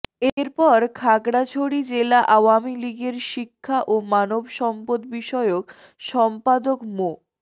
এরপর খাগড়াছড়ি জেলা আওয়ামী লীগের শিক্ষা ও মানব সম্পদবিষয়ক সম্পাদক মো